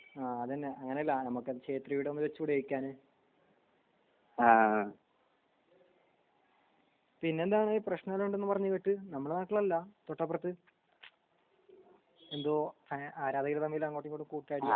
അതെന്നെ അങ്ങനെ ശേത്രി ടെ ഒന്ന് വെച്ചൂടെ ചോയ്ക്കാ ഞാൻ പിന്നെന്താ അങ്ങനെ പ്രശ്നം എന്തോ ഉണ്ടെന്ന് പറഞ്ഞേന്നില്ലേ ഇജ്ജ്? നമ്മടെ നാട്ടിൽ അല്ല തൊട്ടപ്പുറത്ത് എന്തോ ആരാധകർ തമ്മിൽ അങ്ങോട്ടും ഇങ്ങോട്ടും കൂട്ട അടി.